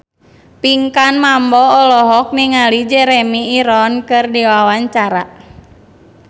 Pinkan Mambo olohok ningali Jeremy Irons keur diwawancara